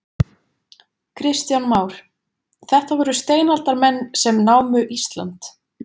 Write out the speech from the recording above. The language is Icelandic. Kristján Már: Þetta voru steinaldarmenn sem námu Ísland?